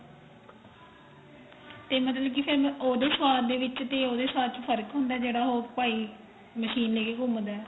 ਤੇ ਮਤਲਬ ਕੀ ਫੇਰ ਮੈਂ ਉਹਦੇ ਸਵਾਦ ਦੇ ਵਿੱਚ ਤੇ ਉਹਦੇ ਸਵਾਦ ਚ ਫਰਕ ਹੁੰਦਾ ਜਿਹੜਾ ਉਹ ਭਾਈ machine ਲੈ ਕੇ ਘੁੰਮਦਾ